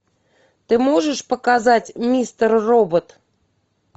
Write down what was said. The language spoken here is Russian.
ты можешь показать мистер робот